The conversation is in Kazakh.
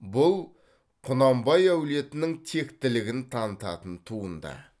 бұл құнанбай әулетінің тектілігін танытатын туынды